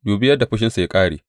Dubi yadda fushinsa ya ƙare!